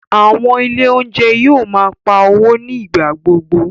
Àwọn Ilé oúnjẹ yóò máa ń pá owó ní ìgbà gbogbo